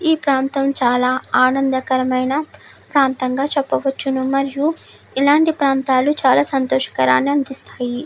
ఈ ప్రాంతం చాల ఆనందకరమైన ప్రాంతంగ చెప్పవచ్చు మరియు ఇలాంటి ప్రాంతాలు చాల సంతోషకరాని అందిస్తాయి.